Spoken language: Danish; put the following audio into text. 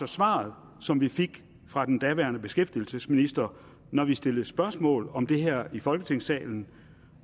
svar som vi fik fra den daværende beskæftigelsesminister når vi stillede spørgsmål om det her i folketingssalen